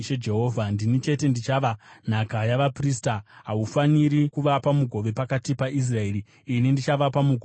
“ ‘Ndini chete ndichava nhaka yavaprista. Haufaniri kuvapa mugove pakati paIsraeri; ini ndichavapa mugove wavo.